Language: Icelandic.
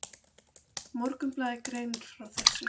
Morgunblaðið greinir frá þessu.